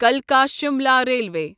کلکا Shimla railway